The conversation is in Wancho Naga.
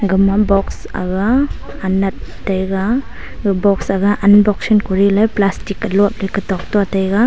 gama box aga anat taiga ga box aga unboxing kori le plastic a lop le taiga.